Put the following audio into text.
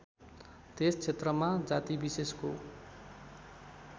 त्यस क्षेत्रमा जातिविशेषको